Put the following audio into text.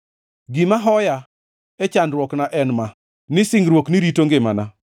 Gima hoya e chandruokna en ma: ni singruokni rito ngimana.